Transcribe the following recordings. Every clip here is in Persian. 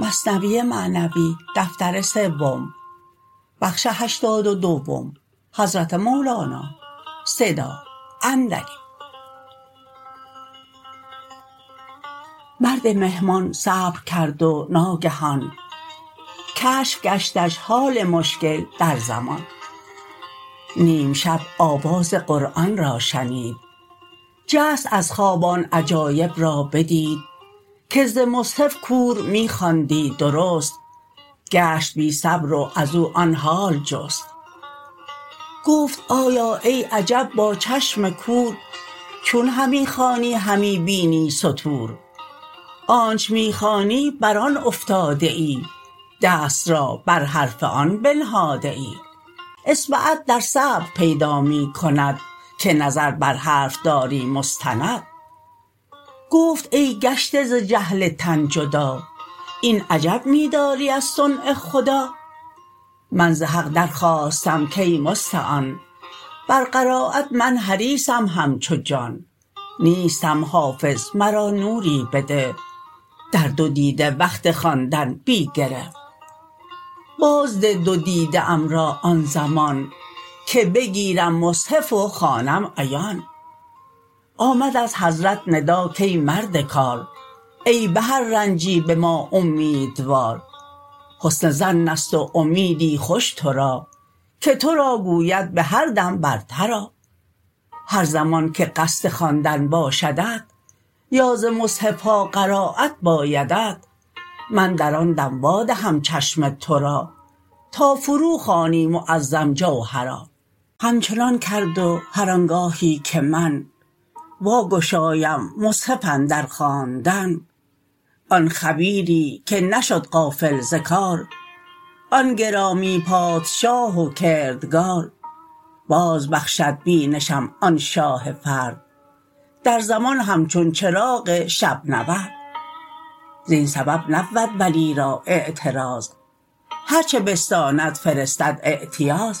مرد مهمان صبرکرد و ناگهان کشف گشتش حال مشکل در زمان نیم شب آواز قرآن را شنید جست از خواب آن عجایب را بدید که ز مصحف کور می خواندی درست گشت بی صبر و ازو آن حال جست گفت آیا ای عجب با چشم کور چون همی خوانی همی بینی سطور آنچ می خوانی بر آن افتاده ای دست را بر حرف آن بنهاده ای اصبعت در سیر پیدا می کند که نظر بر حرف داری مستند گفت ای گشته ز جهل تن جدا این عجب می داری از صنع خدا من ز حق در خواستم کای مستعان بر قرایت من حریصم همچو جان نیستم حافظ مرا نوری بده در دو دیده وقت خواندن بی گره باز ده دو دیده ام را آن زمان که بگیرم مصحف و خوانم عیان آمد از حضرت ندا کای مرد کار ای به هر رنجی به ما اومیدوار حسن ظنست و امیدی خوش تورا که تورا گوید به هر دم برتر آ هر زمان که قصد خواندن باشدت یا ز مصحفها قرایت بایدت من در آن دم وا دهم چشم تورا تا فرو خوانی معظم جوهرا همچنان کرد و هر آنگاهی که من وا گشایم مصحف اندر خواندن آن خبیری که نشد غافل ز کار آن گرامی پادشاه و کردگار باز بخشد بینشم آن شاه فرد در زمان همچون چراغ شب نورد زین سبب نبود ولی را اعتراض هرچه بستاند فرستد اعتیاض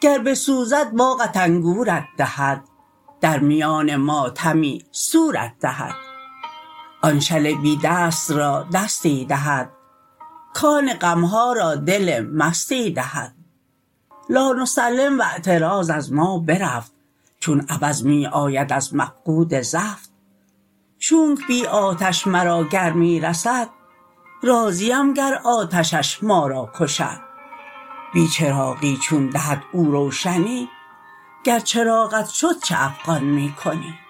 گر بسوزد باغت انگورت دهد در میان ماتمی سورت دهد آن شل بی دست را دستی دهد کان غمها را دل مستی دهد لا نسلم و اعتراض از ما برفت چون عوض می آید از مفقود زفت چونک بی آتش مرا گرمی رسد راضیم گر آتشش ما را کشد بی چراغی چون دهد او روشنی گر چراغت شد چه افغان می کنی